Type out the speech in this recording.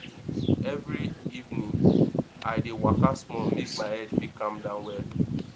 every evening i dey waka small make my head fit calm down well